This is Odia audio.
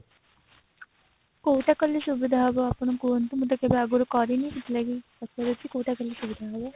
କୋଉଟା କଲେ ସୁବିଧା ହେବ ଆପଣ କୁହନ୍ତୁ ମୁଁ ତ କେବେ ଆଗରୁ କରିନି ସେଥିଲାଗି ପଚାରୁଛି କୋଉଟା କେମତି ହେବ